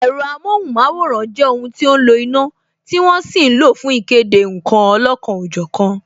Ẹ̀rọ amohunmaworan jẹ́ ohun tí ó ń lo iná, tí wọ́n sì ń lo fún ìkéde nkan olọ́kan ọ jọ̀kan